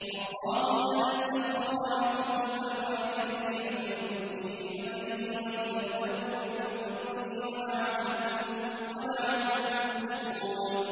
۞ اللَّهُ الَّذِي سَخَّرَ لَكُمُ الْبَحْرَ لِتَجْرِيَ الْفُلْكُ فِيهِ بِأَمْرِهِ وَلِتَبْتَغُوا مِن فَضْلِهِ وَلَعَلَّكُمْ تَشْكُرُونَ